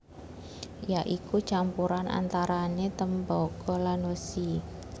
Ya iku campuran antarané Tembaga lan Wesi